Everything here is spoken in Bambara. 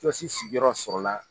Tiyɔsi sigi yɔrɔ sɔrɔ la.